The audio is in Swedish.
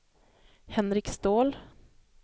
Henrik Ståhl